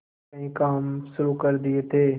कई काम शुरू कर दिए थे